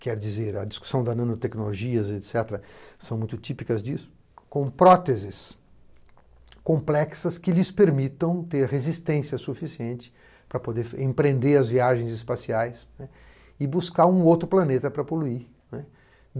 Quer dizer, a discussão da nanotecnologia, etc, são muito típicas disso, com próteses complexas que lhes permitam ter resistência suficiente para poder empreender as viagens espaciais e buscar um outro planeta para poluir.